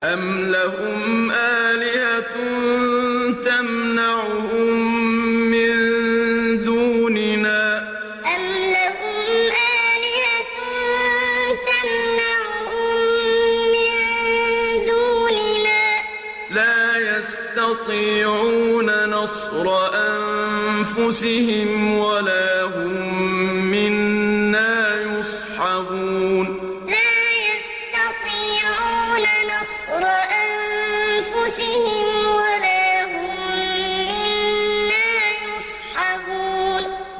أَمْ لَهُمْ آلِهَةٌ تَمْنَعُهُم مِّن دُونِنَا ۚ لَا يَسْتَطِيعُونَ نَصْرَ أَنفُسِهِمْ وَلَا هُم مِّنَّا يُصْحَبُونَ أَمْ لَهُمْ آلِهَةٌ تَمْنَعُهُم مِّن دُونِنَا ۚ لَا يَسْتَطِيعُونَ نَصْرَ أَنفُسِهِمْ وَلَا هُم مِّنَّا يُصْحَبُونَ